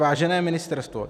Vážené ministerstvo,